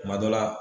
Kuma dɔ la